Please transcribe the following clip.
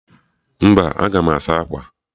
Mba, aga m asa akwa